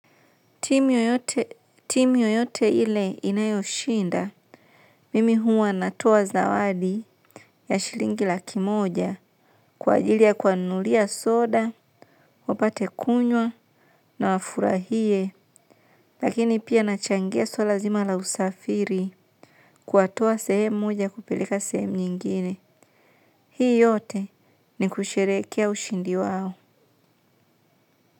Timu yoyote ile inayoshinda, mimi huwa natoa zawadi ya shilingi laki moja kwa ajilia ya kuwanunulia soda, wapate kunywa na wafurahie, lakini pia na changia swala zima la usafiri kuwatoa sehemu moja kuwapeleka sehemu nyingine. Hii yote ni kusherehekea ushindi wao.